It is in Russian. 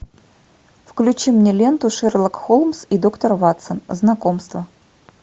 включи мне ленту шерлок холмс и доктор ватсон знакомство